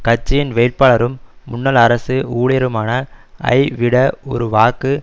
கட்சியின் வேட்பாளரும் முன்னாள் அரசு ஊழியருமான ஐ விட ஒரு வாக்கு